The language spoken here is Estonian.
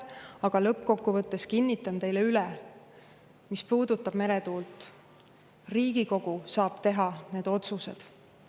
Aga lõppkokkuvõttes kinnitan teile üle: mis puudutab meretuult, siis Riigikogu saab teha need otsused.